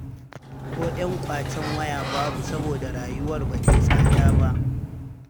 Ko ƴan kwacen waya babu saboda rayuwar ba tai tsada ba.